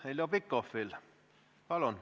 Heljo Pikhof, palun!